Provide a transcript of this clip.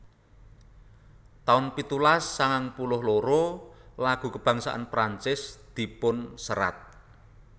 taun pitulas sangang puluh loro lagu kabangsan Prancis dipunserat